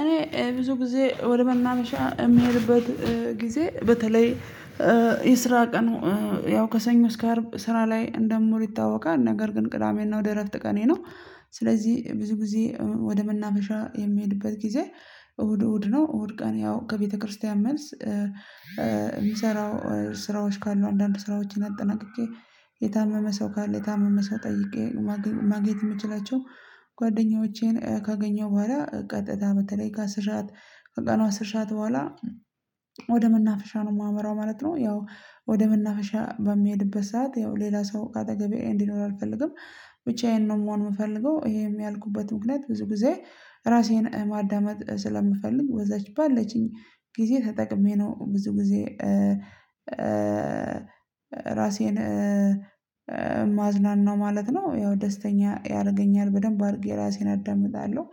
እኔ ብዙ ጊዜ ወደ መናፈሻ የምሄድበት ጊዜ በተለይ የስራ ቀኑ ያው ከሰኞ እስከ አርብ ስራ ላይ እንደምውል ይታወቃል። ነገር ግን ቅዳሜና እሁድ የእረፍት ቀኔ ነው። ስለዚህ ብዙ ጊዜ ወደ መናፈሻ የምሄድበት ጊዜ እሁድ እሁድ ነው። እሁድ ቀን ያው ከቤተክርስቲያን መልስ የምሰራው ስራዎች ካሉ አንዳንድ ስራዎችን አጠናቅቄ የታመመ ሰው ካለ የታመመ ሰው ጠይቄ ማግኘት የምችላቸው ጓደኞቼን ካገኘሁ በኋላ ቀጥታ በተለይ ከአስር ሰዓት ከቀኑ አሥር በኋላ ወደ መናፈሻ ነው የማመራው ማለት ነው። ያው ወደ መናፈሻ በምሄድበት ሰዓት ያው ሌላ ሰው ከአጠገቤ እንዲኖር አልፈልግም። ብቻዬን ነው መሆን የምፈልገው ይሄም ያልኩበት ምክንያት ብዙ ጊዜ ራሴን ማዳመጥ ስለምፈል፤ በዛች ባለችኝ ጊዜ ተጠቅሜ ነው ብዙ ጊዜ ራሴን ማዝናናው ማለትነው። ያው ማ ደስተኛ ያደርገኛል በደንብ አድርጌ ራሴን አዳምጣለሁ።